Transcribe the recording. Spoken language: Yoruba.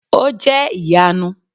o jẹ iyanu!